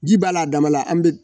Ji b'a la a dama la an bɛ